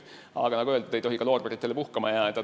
Aga nagu öeldud, ei tohi loorberitele puhkama jääda.